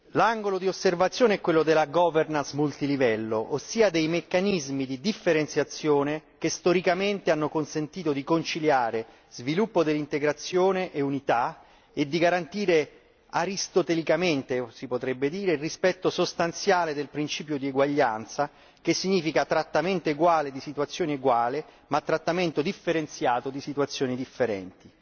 L'angolo di osservazione è quello della governance multilivello, ossia dei meccanismi di differenziazione che storicamente hanno consentito di conciliare sviluppo dell'integrazione e unità e di garantire aristotelicamente, si potrebbe dire, il rispetto sostanziale del principio di uguaglianza, che significa trattamento uguale di situazioni uguali, ma trattamento differenziato di situazioni differenti.